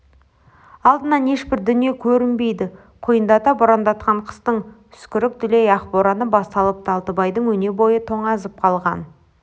алдынан ешбір дүние көрінбейді құйындата борандатқан қыстың үскірік дүлей ақ бораны басталыпты алтыбайдың өнебойы тоңазып қалған